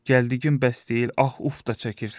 Gəldiyim bəs deyil, ax uf da çəkirsən.